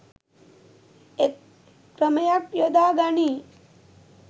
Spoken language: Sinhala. එක් ක්‍රමයක් යොදා ගනී.